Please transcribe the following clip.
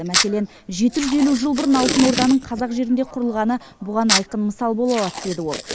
мәселен жеті жүз елу жыл бұрын алтын орданың қазақ жерінде құрылғаны бұған айқын мысал бола алады деді ол